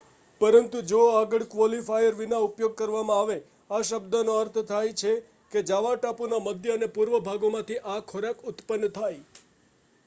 પરંતુ જો આગળ ક્વોલિફાયર વિના ઉપયોગ કરવામાં આવે, આ શબ્દનો અર્થ થાય છે કે જાવા ટાપુના મધ્ય અને પૂર્વભાગોમાંથી આ ખોરાક ઉત્પન્ન થાય